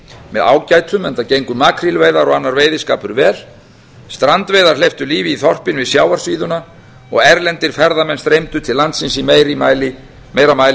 með ágætum enda gengu makrílveiðar og annar veiðiskapur vel strandveiðar hleyptu lífi í þorpin við sjávarsíðuna og erlendir ferðamenn streymdu til landsins í meira mæli en